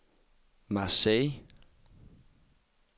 Marseille